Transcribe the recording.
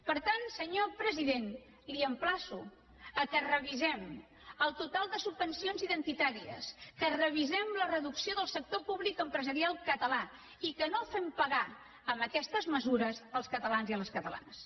per tant senyor president l’emplaço que revisem el total de subvencions identitàries que revisem la reducció del sector públic empresarial català i que no fem pagar aquestes mesures als catalans i a les catalanes